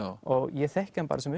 og ég þekki hann bara sem